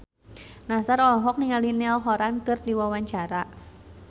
Nassar olohok ningali Niall Horran keur diwawancara